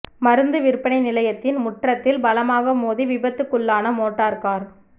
மருந்து விற்பனை நிலையத்தின் முற்றத்தில் பலமாக மோதி விபத்துக்குள்ளான மோட்டார் கார்